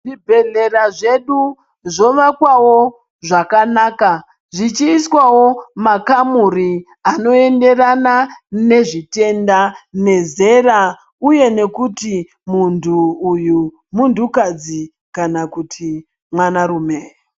Zvibhedhlera zvedu zvovakwawo zvakanaka zvichiiswawo makamuri anoenderana nezvitenda nezera uye nekuti muntu uyu muntu kadzi kana kuti mwana rume.